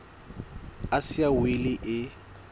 a sa siya wili e